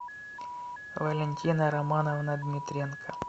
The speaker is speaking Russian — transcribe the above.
валентина романовна дмитренко